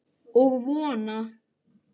Og vona.